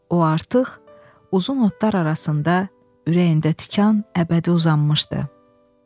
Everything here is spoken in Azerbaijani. O artıq uzun otlar arasında ürəyində tikan əbədi uzanmışdı.